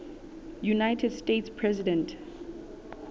united states president